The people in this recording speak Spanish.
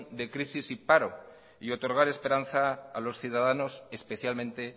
de crisis y paro y otorgar esperanza a los ciudadanos especialmente